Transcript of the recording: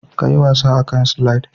ka yi wasa a kan "slide"